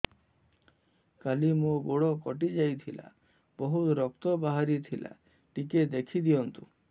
କାଲି ମୋ ଗୋଡ଼ କଟି ଯାଇଥିଲା ବହୁତ ରକ୍ତ ବାହାରି ଥିଲା ଟିକେ ଦେଖି ଦିଅନ୍ତୁ